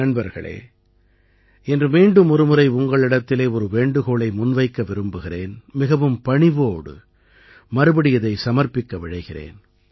நண்பர்களே இன்று மீண்டுமொரு முறை உங்களிடத்திலே ஒரு வேண்டுகோளை முன்வைக்க விரும்புகிறேன் மிகவும் பணிவோடு மறுபடி இதை சமர்ப்பிக்க விழைகிறேன்